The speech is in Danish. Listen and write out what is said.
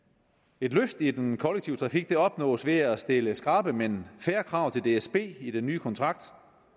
et løft af den kollektive trafik opnås ved at stille skrappe men fair krav til dsb i den nye kontrakt